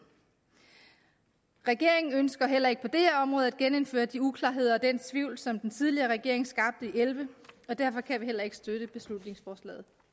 regeringen ønsker heller ikke på det her område at genindføre de uklarheder og den tvivl som den tidligere regering skabte elleve og derfor kan vi heller ikke støtte beslutningsforslaget